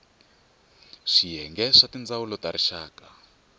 swiyenge swa tindzawulo ta rixaka